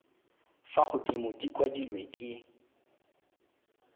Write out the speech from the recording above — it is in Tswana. fa godimo di kwadilwe ke